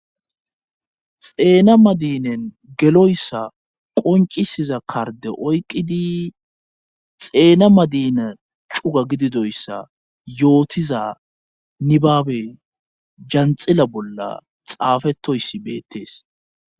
xeena madinen geloyssa qoncisiza karde oyqidi xeena madina cuga gididoyssa yootiza nibaabe janxila bolla xaafetoyssi beettees